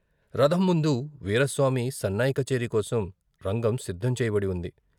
రథం ముందు వీరాస్వామి సన్నాయి కచేరీ కోసం రంగం సిద్ధం చేయబడి వుంది.